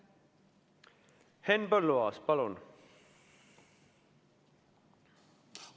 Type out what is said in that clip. Henn Põlluaas, palun!